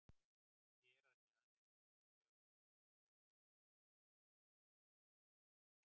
Hér að neðan er einkunnagjöf Fótbolta.net frá Möltu.